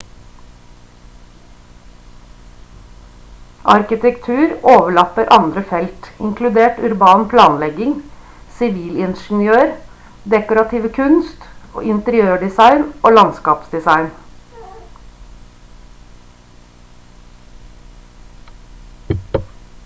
arkitektur overlapper andre felt inkludert urban planlegging sivilingeniør dekorative kunst interiørdesign og landskapsdesign